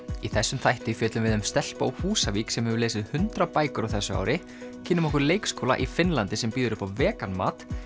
í þessum þætti fjöllum við um stelpu á Húsavík sem hefur lesið hundrað bækur á þessu ári kynnum okkur leikskóla í Finnlandi sem býður upp á vegan mat